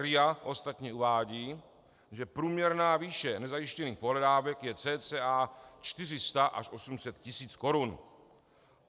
RIA ostatně uvádí, že průměrná výše nezajištěných pohledávek je cca 400 až 800 tis. korun.